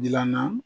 Gilanna